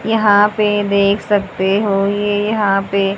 यहां पे देख सकते हो ये यहां पे--